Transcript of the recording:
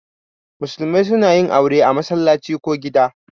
Musulmai suna yin aure a masallaci ko gida.